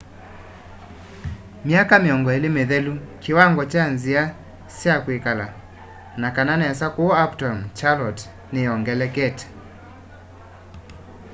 myaka 20 mithelu kiwango kya nzia sya kwikala na kana nesa kuu uptown charlotte niyongelekete